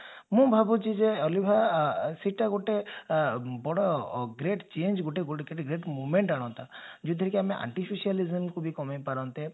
ମୁଁ ଭାବୁଛି ଯେ ଅଲିଭା ସେଟା ଗୋଟେ ବଡ great change ଗୋଟେ movement ଆଣନ୍ତା ଯାଉଥିରେ କି ଆମେ artificial event କୁ ବି କମେଇ ପାରନ୍ତେ